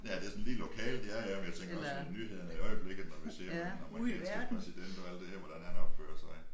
Ja det sådan lige lokalt ja ja men jeg tænker også sådan nyhederne i øjeblikket når vi ser på en amerikanske præsident og alt det her hvordan han opfører sig